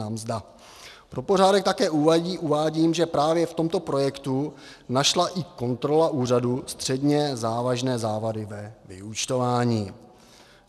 Pro pořádek také uvádím, že právě v tomto projektu našla i kontrola úřadu středně závažné závady ve vyúčtování.